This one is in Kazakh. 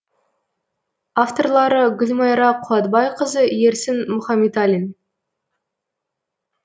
авторлары гүлмайра қуатбайқызы ерсін мұхаметалин